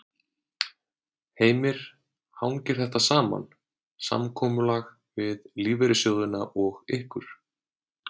Heimir: Hangir þetta saman, samkomulag við lífeyrissjóðina og ykkur?